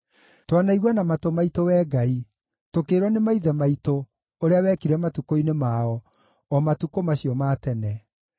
Twanaigua na matũ maitũ Wee Ngai, tũkĩĩrwo nĩ maithe maitũ ũrĩa wekire matukũ-inĩ mao, o matukũ macio ma tene.